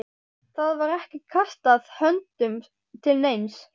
Það var ekki kastað höndum til neins.